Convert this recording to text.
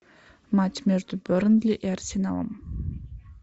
матч между бернли и арсеналом